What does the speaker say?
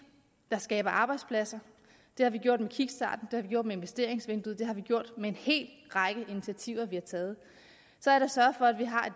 der skaber arbejdspladser det har vi gjort med kickstarten har vi gjort med investeringsvinduet og det har vi gjort med en hel række initiativer vi har taget så er der sørget for at vi har